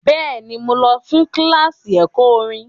Bẹ́ẹ̀ni, mo lọ fún kíláàsì ẹ̀kọ́ orin.